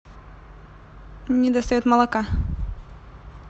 не достает молока